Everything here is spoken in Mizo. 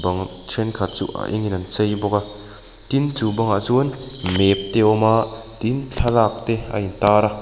thenkhat chu a engin an chei bawk a tin chu bangah chuan map te a awm a tin thlalak te a intar a.